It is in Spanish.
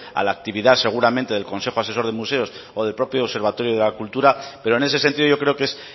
a la actividad seguramente el consejo asesor de museos o del propio observatorio de la cultura pero en ese sentido yo creo que es